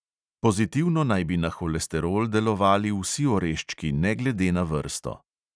Pozitivno naj bi na holesterol delovali vsi oreščki, ne glede na vrsto.